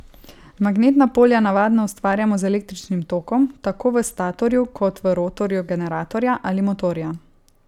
Magnetna polja navadno ustvarjamo z električnim tokom tako v statorju kot v rotorju generatorja ali motorja.